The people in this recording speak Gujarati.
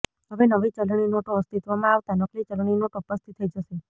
હવે નવી ચલણી નોટો અસ્તિત્વમાં આવતાં નકલી ચલણી નોટો પસ્તી થઈ જશે